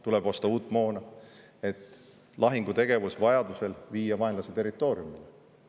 Tuleb osta uut moona, et lahingutegevus vajaduse korral viia vaenlase territooriumile.